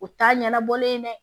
O t'a ɲɛnabɔlen ye dɛ